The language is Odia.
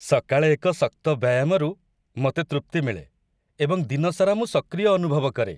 ସକାଳେ ଏକ ଶକ୍ତ ବ୍ୟାୟାମରୁ ମୋତେ ତୃପ୍ତି ମିଳେ ଏବଂ ଦିନସାରା ମୁଁ ସକ୍ରିୟ ଅନୁଭବ କରେ।